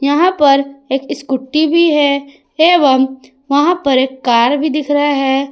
यहां पर एक स्कूटी भी है एवं वहां पर एक कार भी दिख रहा है।